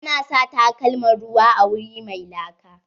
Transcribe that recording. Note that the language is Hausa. A na sa takalman ruwa a wuri mai laka.